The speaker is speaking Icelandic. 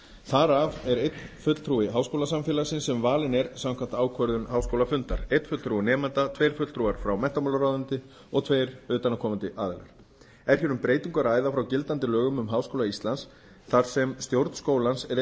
þar af er einn fulltrúi háskólasamfélagsins sem valinn er samkvæmt ákvörðun háskólafundar einn fulltrúi nemenda tveir fulltrúar frá menntamálaráðuneyti og tveir utanaðkomandi aðilar er hér um breytingu að ræða frá gildandi lögum um háskóla íslands þar sem stjórn skólans er